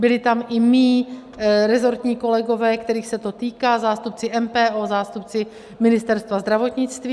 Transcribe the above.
Byli tam i mí resortní kolegové, kterých se to týká, zástupci MPO, zástupci Ministerstva zdravotnictví.